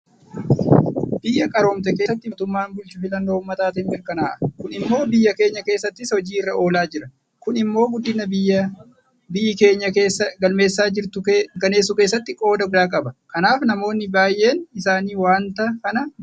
Biyya qaroomte keessatti mootummaan bulchu filannoo uummataatiin mirkanaa'a. Kun immoo biyya keenya keessattis hojii irra oolaa jira. Kun immoo guddina biyyi keenya galmeessaa jirtu mirkaneessuu keessatti qooda guddaa qaba. Kanaaf namoonni baay'een isaanii waanta kana jaalatanii jiru.